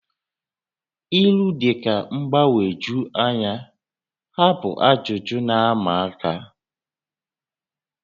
ílú dị ka mgbagwoju anya, ha bụ ajụjụ na-ama aka